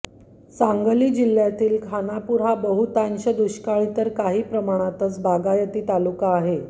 सांगली जिल्ह्यातील खानापूर हा बहुतांश दुष्काळी तर काही प्रमाणाचत बागायती तालुका आहे